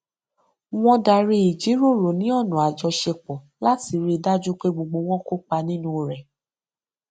wọn darí ìjíròrò ní ọnà àjọṣepọ láti rí dájú pé gbogbo wọn kópa nínú rẹ